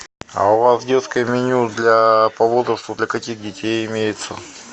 а у вас детское меню для по возрасту для каких детей имеется